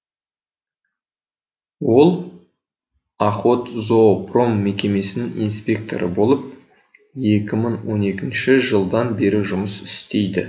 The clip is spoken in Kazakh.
ол охотзоопром мекемесінің инспекторы болып екі мың он екінші жылдан бері жұмыс істейді